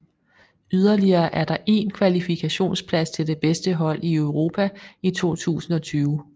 Yderligere er der én kvalifikationsplads til det bedste hold i Europa i 2020